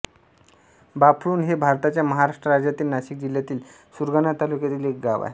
बाफळुण हे भारताच्या महाराष्ट्र राज्यातील नाशिक जिल्ह्यातील सुरगाणा तालुक्यातील एक गाव आहे